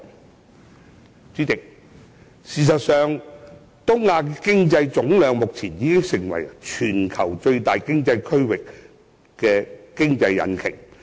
代理主席，事實上，目前東亞的經濟總量已成為全球最大的經濟區域和經濟引擎。